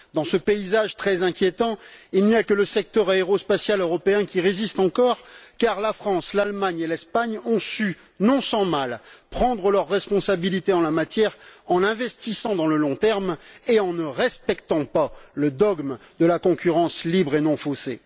Dans ce paysage très inquiétant, il n'y a que le secteur aérospatial européen qui résiste encore, car la France, l'Allemagne et l'Espagne ont su, non sans mal, prendre leurs responsabilités en la matière en investissant dans le long terme et en ne respectant pas le dogme de la concurrence libre et non faussée.